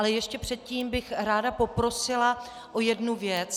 Ale ještě předtím bych ráda poprosila o jednu věc.